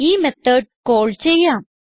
ഈ method call ചെയ്യാം